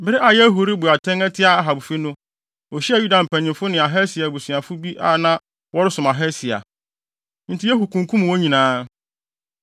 Bere a Yehu rebu atɛn atia Ahab fi no, ohyiaa Yuda mpanyimfo ne Ahasia abusuafo bi a na wɔresom Ahasia. Enti Yehu kunkum wɔn nyinaa.